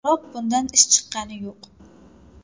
Biroq bundan ish chiqqani yo‘q.